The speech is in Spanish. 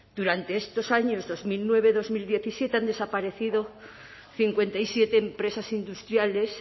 durante estos años dos mil nueve dos mil diecisiete han desaparecido cincuenta y siete empresas industriales